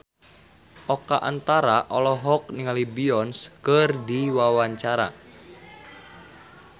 Oka Antara olohok ningali Beyonce keur diwawancara